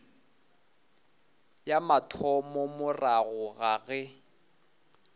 ya mathomo morago ga ge